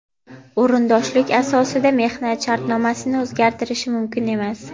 o‘rindoshlik asosida mehnat shartnomasini o‘zgartirishi mumkin emas.